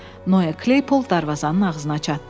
Noyya Kleypol darvazanın ağzına çatdı.